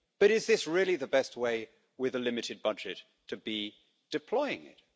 But is this really the best way with a limited budget to be deploying it?